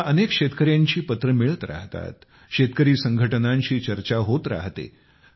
मला अनेक शेतकऱ्यांची पत्रे मिळत राहतात शेतकरी संघटनांशी चर्चा होत राहते